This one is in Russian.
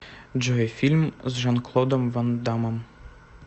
джой фильм с жан клодом ван даммом